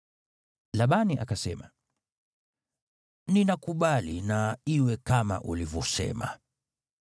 Labani akasema, “Ninakubali na iwe kama ulivyosema.”